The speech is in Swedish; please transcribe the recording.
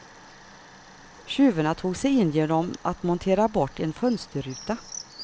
Tjuvarna tog sig in genom att montera bort en fönsterruta.